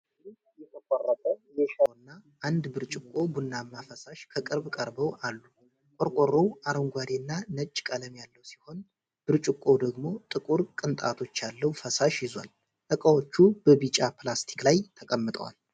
ከፊሉ የተቆረጠ የሻይ ዱቄት ቆርቆሮና አንድ ብርጭቆ ቡናማ ፈሳሽ ከቅርብ ቀርበው አሉ። ቆርቆሮው አረንጓዴና ነጭ ቀለም ያለው ሲሆን፣ ብርጭቆው ደግሞ ጥቁር ቅንጣቶች ያለው ፈሳሽ ይዟል። እቃዎቹ በቢጫ ፕላስቲክ ላይ ተቀምጠዋል።